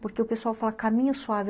Porque o pessoal fala caminho suave.